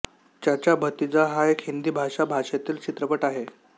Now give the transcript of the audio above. चाचा भतीजा हा एक हिंदी भाषा भाषेतील चित्रपट आहे